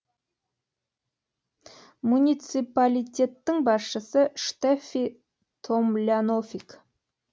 муниципалитеттің басшысы штеффи томлянофик